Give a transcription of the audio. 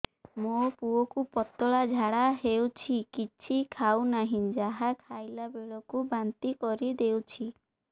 ମୋ ପୁଅ କୁ ପତଳା ଝାଡ଼ା ହେଉଛି କିଛି ଖାଉ ନାହିଁ ଯାହା ଖାଇଲାବେଳକୁ ବାନ୍ତି କରି ଦେଉଛି